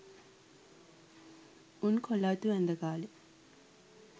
උන් කොල අතු ඇන්ද කාලෙ